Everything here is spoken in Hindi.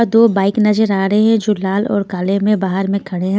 दो बाइक नजर आ रहे हैं जो लाल और काले में बाहर में खड़े हैं.